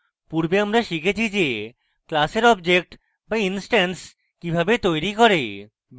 পূর্বে আমরা শিখেছি যে class objects বা ইনস্ট্যান্স কিভাবে তৈরী করে